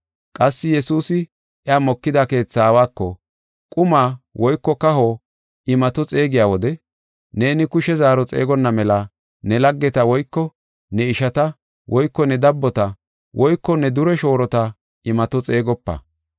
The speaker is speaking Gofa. Qassi Yesuusi iya mokida keetha aawako, “Quma woyko kaho imato xeegiya wode, neeni kushe zaaro xeegonna mela ne laggeta woyko ne ishata woyko ne dabbota woyko ne dure shoorota imato xeegopa.